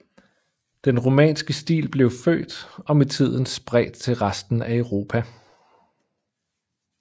Den romanske stil blev født og med tiden spredt til resten af Europa